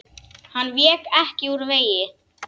Hann vék ekki úr vegi.